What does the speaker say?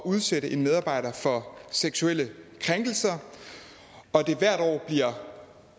at udsætte en medarbejder for seksuelle krænkelser og